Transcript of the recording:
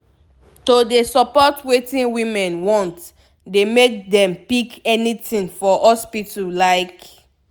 to de support wetin women want dey make dem pick anything for hospital like